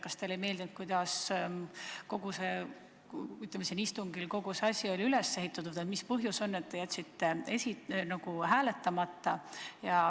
Kas teile ei meeldinud, kuidas siin istungil, ütleme, kogu see protseduur oli üles ehitatud, või mis põhjus on, et te jätsite hääletamata?